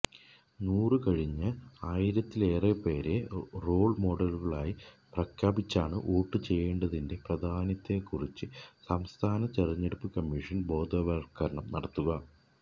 നൂറു കഴിഞ്ഞ ആയിരത്തിലേറെപ്പേരെ റോള് മോഡലുകളായി പ്രഖ്യാപിച്ചാണ് വോട്ടു ചെയ്യേണ്ടതിന്റെ പ്രാധാന്യത്തെക്കുറിച്ച് സംസ്ഥാന തെരഞ്ഞടുപ്പു കമ്മീഷന് ബോധവത്കരണം നടത്തുക